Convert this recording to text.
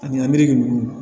Ani ameriki ninnu